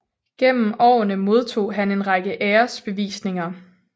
Gennem årene modtog han en række æresbevisninger